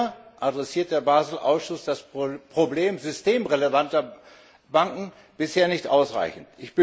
Leider adressiert der Basel Ausschuss das Problem systemrelevanter Banken bisher nicht ausreichend.